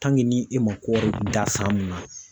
ni e ma kɔɔri da san min na.